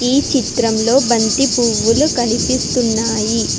ఈ చిత్రం లో బంతి పూలు కనిపిస్తున్నాయ్.